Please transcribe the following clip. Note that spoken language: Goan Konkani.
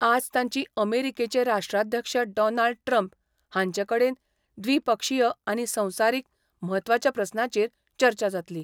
आज तांची अमेरिकेचे राष्ट्राध्यक्ष डॉनाल्ड ट्रम्प हांचे कडेन द्विपक्षीय आनी संवसारीक म्हत्वाच्या प्रस्नाचेर चर्चा जातली.